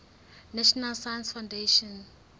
national science foundation